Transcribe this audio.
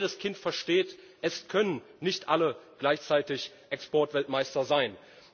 Aber jedes Kind versteht Es können nicht alle gleichzeitig Exportweltmeister sein.